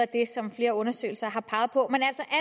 det som flere undersøgelser har peget på